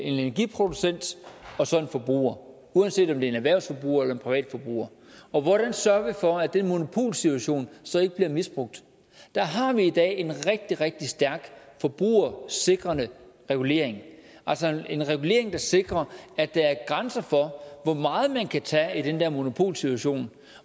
en forbruger uanset om det er en erhvervsforbruger eller en privatforbruger og hvordan sørger vi for at den monopolsituation så ikke bliver misbrugt der har vi i dag en rigtig rigtig stærk forbrugersikrende regulering altså en regulering der sikrer at der er grænser for hvor meget man kan tage i den der monopolsituation